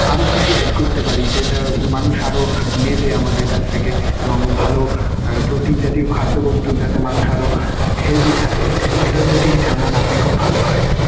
আরও কি কি add করতে পারি যেটা মানুষ আরও নেবে আমাদের কাছ থেকে এবং ভালো protein জাতীয় খাদ্যবস্তু যাতে মানুষ আরও healthy থাকে. এটা যদি আপনি খুব ভালো হয়.